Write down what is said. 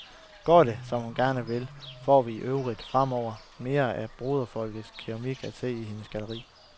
Går det, som hun gerne vil, får vi i øvrigt fremover mere af broderfolkenes keramik at se i hendes galleri.